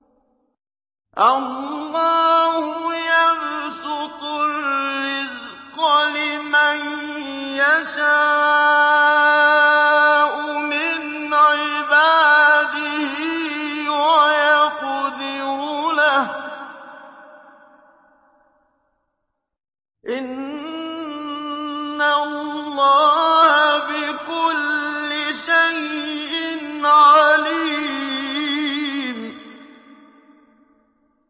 اللَّهُ يَبْسُطُ الرِّزْقَ لِمَن يَشَاءُ مِنْ عِبَادِهِ وَيَقْدِرُ لَهُ ۚ إِنَّ اللَّهَ بِكُلِّ شَيْءٍ عَلِيمٌ